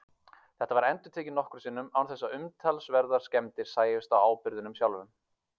Þetta var endurtekið nokkrum sinnum án þess að umtalsverðar skemmdir sæjust á áburðinum sjálfum.